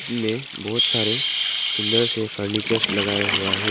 में बहुत सारे सुंदर से फर्नीचर्स लगाए हुआ है।